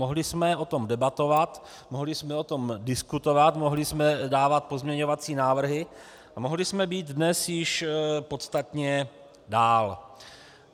Mohli jsme o tom debatovat, mohli jsme o tom diskutovat, mohli jsme dávat pozměňovací návrhy a mohli jsme již dnes být podstatně dál.